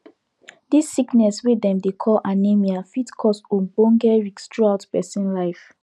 this sickness wey dem dey call anemia fit cause ogbonge risk throughout persin life